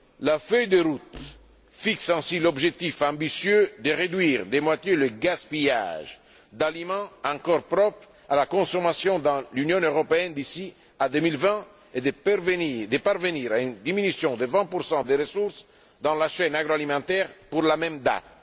La feuille de route fixe ainsi l'objectif ambitieux de réduire de moitié le gaspillage d'aliments encore propres à la consommation dans l'Union européenne d'ici à 2020, et de parvenir à une diminution de 20 des ressources dans la chaîne agroalimentaire pour la même